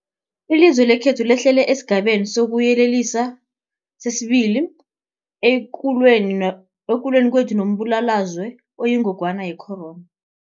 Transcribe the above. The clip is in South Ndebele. Ilizwe lekhethu lehlele esiGabeni sokuYelelisa sesi-2 ekulweni kwethu nombulalazwe oyingogwana ye-corona.